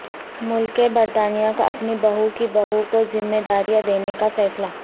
ملکہ برطانیہ کا اپنی بہو کی بہو کوذمہ داریاں دینے کا فیصلہ